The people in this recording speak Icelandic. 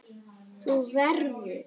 Þú verður.